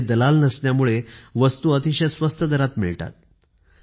agents नसल्याने बऱ्याच वस्तू स्वस्त मिळतात